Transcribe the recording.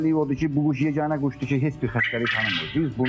Bunun özəlliyi odur ki, bu quş yeganə quşdur ki, heç bir xəstəlik tanımır.